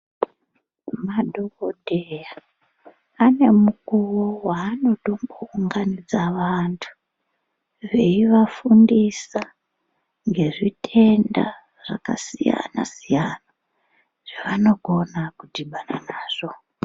Madhokodheya ane mukuwo waanotombo unganidza vantu veifundisa ngezvitenda zvakasiyana siyana zvavanokona kudhibana nazvo.